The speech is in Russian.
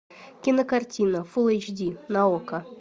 кинокартина фул эйч ди на окко